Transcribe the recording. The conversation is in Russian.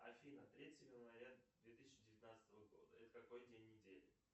афина третье января две тысячи девятнадцатого года это какой день недели